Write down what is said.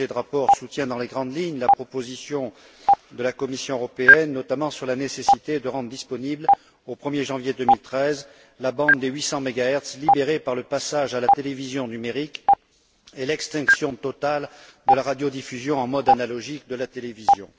Ce projet de rapport soutient dans les grandes lignes la proposition de la Commission européenne, notamment sur la nécessité de rendre disponible, au 1er janvier 2013, la bande des 800 megahertz libérée par le passage à la télévision numérique et l'extinction totale de la radiodiffusion en mode analogique de la télévision.